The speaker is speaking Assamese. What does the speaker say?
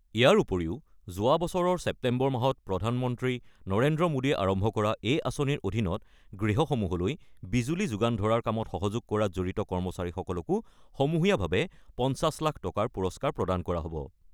ইয়াৰ উপৰিও যোৱাবছৰৰ ছেপ্তেম্বৰ মাহত প্ৰধানমন্ত্ৰী নৰেন্দ্ৰ মোদীয়ে আৰম্ভ কৰা এই আঁচনিৰ অধীনত গৃহসমূহলৈ বিজুলী যোগান ধৰাৰ কামত সহযোগ কৰাত জড়িত কৰ্মচাৰীসকলকো সমূহীয়াভাৱে ৫০ লাখ টকাৰ পুৰস্কাৰ প্ৰদান কৰা হ'ব।